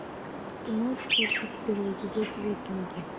ты можешь включить первый эпизод викинги